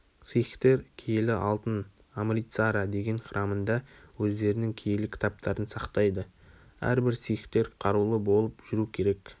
сикхтер киелі алтын амритсара деген храмында өздерінің киелі кітаптарын сақтайды әрбір сикхтер қарулы болып жүру керек